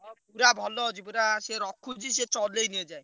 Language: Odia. ହଁ ପୁରା ଭଲ ଅଛି। ପୁରା ସିଏ ରଖୁଛି ସେ ଚଲେଇନି ଏ ଯାଏ।